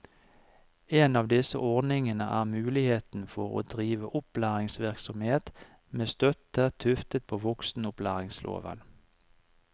En av disse ordningene er muligheten for å drive opplæringsvirksomhet med støtte tuftet på voksenopplæringsloven.